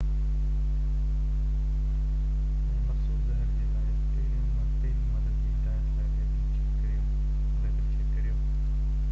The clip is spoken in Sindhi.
انهي مخصوص زهر جي لاءِ پهرين مدد جي هدايتن لاءِ ليبل چيڪ ڪريو